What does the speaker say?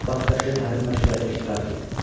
Vaxtaşırı hərbi məşqlərdə iştirak et.